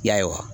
Y'a ye wa